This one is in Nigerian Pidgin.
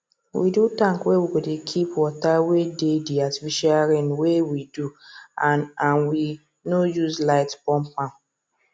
we do tank wey we go dey keep water wey dey the artificial rain wey we do and and we no use light pump am